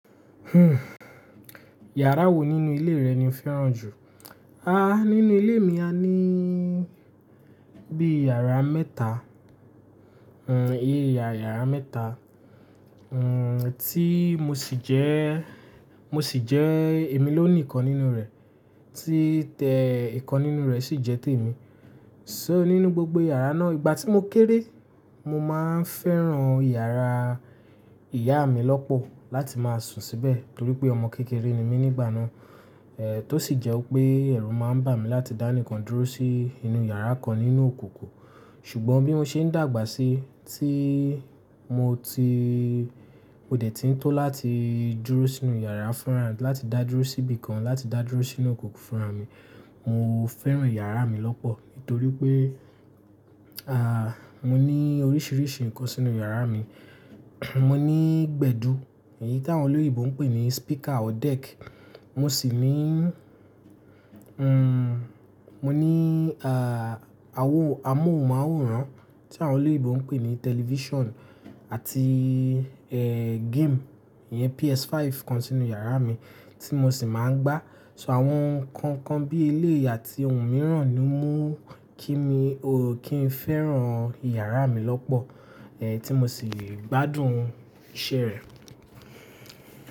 Hmm. Yàrá wo nínú ilé rẹ ni o fẹ́ràn jù? Aah, nínú ilé mi a ní bí i yàrá mẹ́ta. Hmm, èyí yà yàrá mẹ́ta. Hmm, tí mo sì jẹ́, mo sì jẹ́ èmi ló nìkan nínú rẹ̀. Tí tẹ ìkan nínú rẹ̀ sì jẹ́ tèmi. So nínú gbogbo yàrá náà, ìgbà tí mo kéré, mo máa ń fẹ́ràn yàrá ìyá mi lọ́pọ̀ láti máa sùn síbẹ̀. Nítorí pé ọmọ kékeré ni mí nígbà náà. Èh, tó sì jẹ́ pé ẹ̀rù máa ń bà mí láti dá nìkan dúró sí inú yàrá kan nínú òkòkò. Ṣùgbọ́n bí mó ṣe ń dàgbà sí, tí mo ti mò de tí ń tó láti dúró sínú yàrá fúnra, láti dá dúró síbi kan, láti dá dúró sínú òkùnkò fùnrà mi, mo fẹ́ràn yàrá mi lọ́pọ̀. Nítorí pé, àh, mo ní oríṣiríṣi nǹkan sínú yàrá mi. Mo ní gbẹ̀du, èyí tí àwọn olóyèbo ń pè ní speaker or deck. Mo sì ní, hmm, mo ní, àh, awó amóhùnmáwòrán tí àwọn olóyèbo ń pè ní television àti, eh, game. Ìyẹn PS5 kan sínú yàrá mi tí mo sì máa ń gbá. To àwọn nǹkan kan bí eléyì àti ohun mìíràn ni mú kí ni, o, kí n fẹ́ràn yàrá mi lọ́pọ̀. Èh, tí mo sì gbádùn iṣẹ́ rẹ̀.